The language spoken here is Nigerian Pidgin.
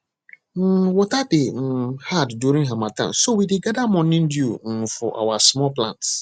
um water dey um hard during harmattan so we dey gather morning dew um for our small plants